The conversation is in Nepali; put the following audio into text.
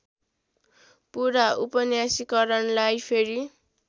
पुरा उपन्यासीकरणलाई फेरि